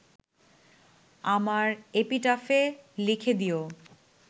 আমার এপিটাফে লিখে দিও